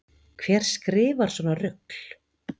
Hver skrifar svona rugl